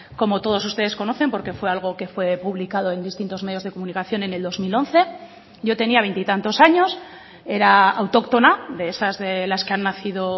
como todos ustedes conocen porque fue algo que fue publicado en distintos medios de comunicación en el dos mil once yo tenía veintitantos años era autóctona de esas de las que han nacido